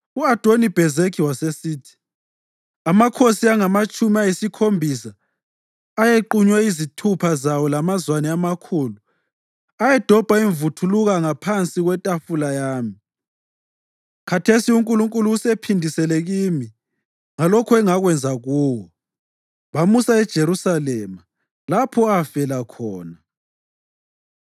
U-Adoni-Bhezekhi wasesithi, “Amakhosi angamatshumi ayisikhombisa ayequnywe izithupha zawo lamazwane amakhulu ayedobha imvuthuluka ngaphansi kwetafula yami. Khathesi uNkulunkulu usephindisele kimi ngalokho engakwenza kuwo.” Bamusa eJerusalema lapho afela khona.